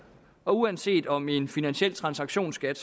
og uanset om en finansiel transaktionsskat